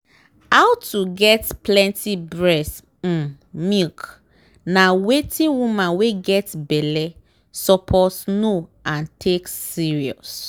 how to get plenty breast um milk na wetin woman wen get belle suppose know and take serious.